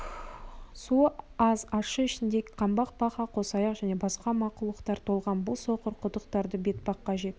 суы аз ащы ішінде қаңбақ бақа қосаяқ және басқа мақұлықтар толған бұл соқыр құдықтарды бетпаққа жетік